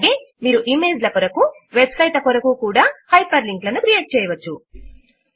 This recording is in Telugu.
అలాగే మీరు ఇమేజ్ ల కొరకు వెబ్ సైట్ ల కొరకు కూడా హైపర్ లింక్ లను క్రియేట్ చేయవచ్చు